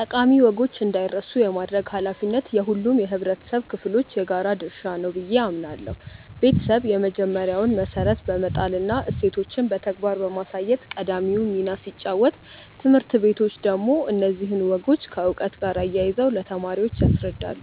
ጠቃሚ ወጎች እንዳይረሱ የማድረግ ኃላፊነት የሁሉም የኅብረተሰብ ክፍሎች የጋራ ድርሻ ነው ብዬ አምናለሁ። ቤተሰብ የመጀመሪያውን መሠረት በመጣልና እሴቶችን በተግባር በማሳየት ቀዳሚውን ሚና ሲጫወት፣ ትምህርት ቤቶች ደግሞ እነዚህን ወጎች ከዕውቀት ጋር አያይዘው ለተማሪዎች ያስረዳሉ።